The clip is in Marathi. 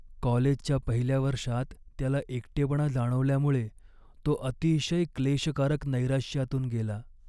कॉलेजच्या पहिल्या वर्षात त्याला एकटेपणा जाणवल्यामुळे तो अतिशय क्लेशकारक नैराश्यातून गेला.